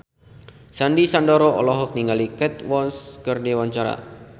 Sandy Sandoro olohok ningali Kate Moss keur diwawancara